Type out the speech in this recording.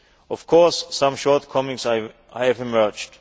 Of course, some shortcomings have emerged.